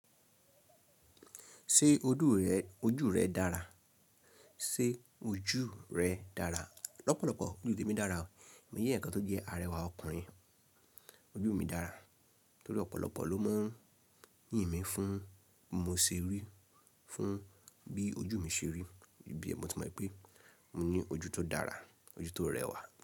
Ṣé ojú rẹ dára? Sé ojú rẹ dára? Lọ́pọ̀lọ́pọ̀ ojú tèmi dára. Èmi je eeyan kan tó jẹ́ arẹwà ọkùnrin. Ojú mi dára torí ọ̀pọ̀lọpọ̀ ló mọ̀ ń yìn mí fún mo ṣe rí, fún bí ojú mi ṣe rí, ine mo ti mọ̀ pé mo ní ojú tó dára, ojú tó rẹwà.